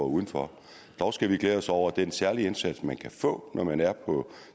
udenfor dog skal vi glæde os over at den særlige indsats man kan få når man er på